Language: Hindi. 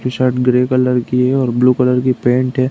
टी-शर्ट ग्रे कलर की है और ब्लू कलर की पैन्ट है।